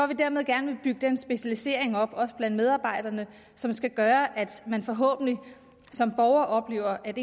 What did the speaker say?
vi dermed gerne vil bygge den specialisering op også blandt medarbejderne som skal gøre at man forhåbentlig som borger oplever at